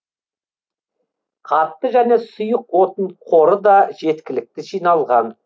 қатты және сұйық отын қоры да жеткілікті жиналған